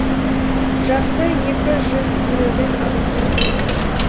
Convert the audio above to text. жасы екі жүз елуден асып кеткен